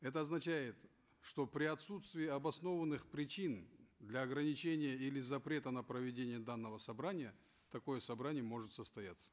это означает что при отсутствии обоснованных причин для ограничения или запрета на проведение данного собрания такое собрание может состояться